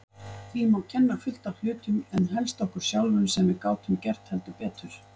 Því má kenna fullt af hlutum en helst okkur sjálfum sem gátum gert heldur betur.